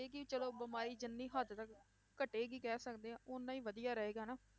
ਇਹ ਕਿ ਚਲੋ ਬਿਮਾਰੀ ਜਿੰਨੀ ਹੱਦ ਤੱਕ ਘਟੇਗੀ ਕਹਿ ਸਕਦੇ ਹਾਂ ਓਨਾ ਹੀ ਵਧੀਆ ਰਹੇਗਾ ਹਨਾ